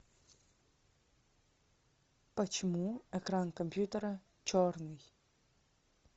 почему экран компьютера черный